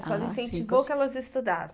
A senhora incentivou que elas estudassem.